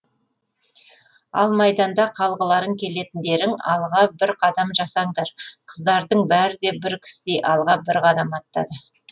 ал майданда қалғыларың келетіндерің алға бір қадам жасаңдар қыздардың бәрі де бір кісідей алға бір қадам аттады